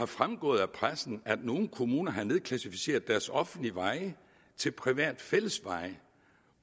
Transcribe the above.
fremgået af pressen at nogle kommuner har nedklassificeret deres offentlige veje til private fællesveje